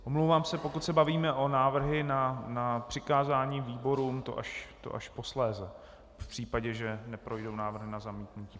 Omlouvám se, pokud se bavíme o návrzích na přikázání výborům, to až posléze, v případě, že neprojdou návrhy na zamítnutí.